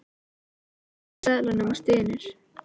Edda tekur við seðlunum og stynur.